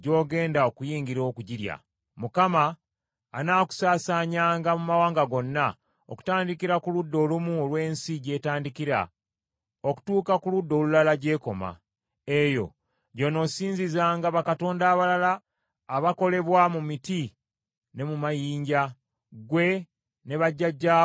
Mukama anaakusaasaanyanga mu mawanga gonna, okutandikira ku ludda olumu olw’ensi gy’etandikira, okutuuka ku ludda olulala gy’ekoma. Eyo gy’onoosinzizanga bakatonda abalala abakolebwa mu miti ne mu mayinja, ggwe ne bajjajjaabo be mutamanyangako.